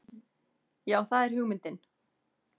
Já það er hugmyndin.